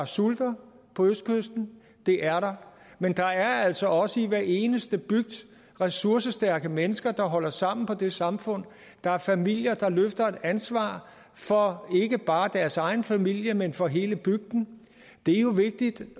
sulter på østkysten det er der men der er altså også i hver eneste bygd ressourcestærke mennesker der holder sammen på det samfund der er familier der løfter et ansvar for ikke bare deres egen familie men for hele bygden det er jo vigtigt